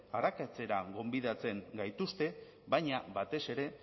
arakatzera gonbidatzen gaituzte baina batez ere